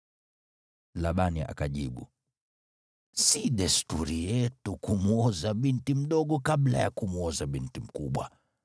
Labani akajibu, “Si desturi yetu kumwoza binti mdogo kabla ya kumwoza binti mkubwa.